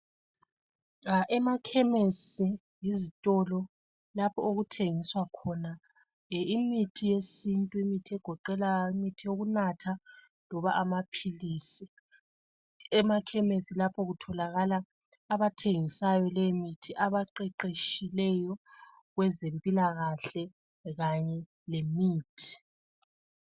Emakhemisi yizitolo lapho okuthengiswa khona imithi yesintu egoqela eyokunatha loba amaphilisi. Emakhemisi lapho kutholakala abathengisa imithi abaqeqetshileyo kwezempilakahle kanye lemithi.